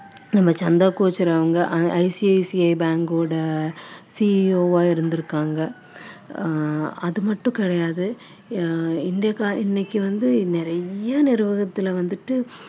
நம்ம சந்தா கோச்சர் அவங்க ICICI bank ஓட CEO ஆ இருந்திருக்காங்க ஆஹ் அது மட்டும் கிடையாது ஆஹ் இன்னைக்கு வந்து நிறைய நிறுவனத்துல வந்துட்டு